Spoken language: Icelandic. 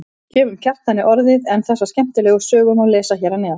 Gefum Kjartani orðið en þessa skemmtilegu sögu má lesa hér að neðan.